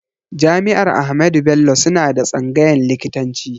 Jami'ar Ahmadu Bello suna da tsangayn likitanci